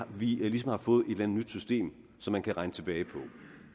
vi ligesom har fået et eller andet nyt system som man kan regne tilbage